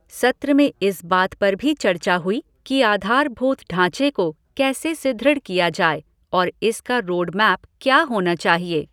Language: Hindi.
सत्र में इस बात पर भी चर्चा हुई कि आधारभूत ढांचे को कैसे सुदृढ़ किया जाए और इसका रोड मैप क्या होना चाहिए।